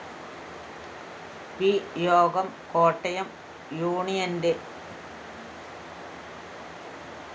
P യോഗം കോട്ടയം യൂണിയന്റെ ംംം